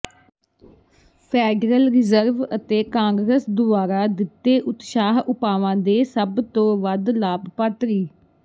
federal reserve ਅਤੇ Congress ਦੁਆਰਾ ਦਿੱਤੇ ਉਤਸ਼ਾਹ ਉਪਾਵਾਂ ਦੇ ਸਭ ਤੋਂ ਵੱਧ ਲਾਭਪਾਤਰੀ